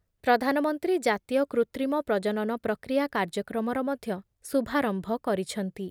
ପ୍ରଧାନମନ୍ତ୍ରୀ ଜାତୀୟ କୃତ୍ରିମ ପ୍ରଜନନ ପ୍ରକ୍ରିୟା କାର୍ଯ୍ୟକ୍ରମର ମଧ୍ୟ ଶୁଭାରମ୍ଭ କରିଛନ୍ତି ।